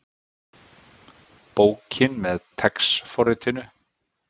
Bókin með TeX forritinu.